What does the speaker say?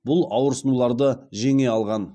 бұл ауырсынуларды жеңе алған